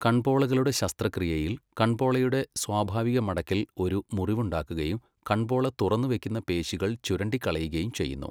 കൺപോളകളുടെ ശസ്ത്രക്രിയയിൽ കൺപോളയുടെ സ്വാഭാവിക മടക്കിൽ ഒരു മുറിവുണ്ടാക്കുകയും കൺപോള തുറന്ന് വയ്ക്കുന്ന പേശികൾ ചുരണ്ടിക്കളയുകയും ചെയ്യുന്നു.